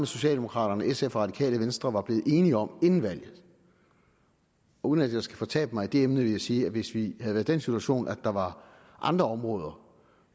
socialdemokraterne sf og radikale venstre var blevet enige om inden valget og uden at jeg skal fortabe mig i det emne vil jeg sige at hvis vi havde været i den situation at der var andre områder